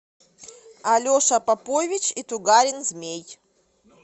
алеша попович и тугарин змей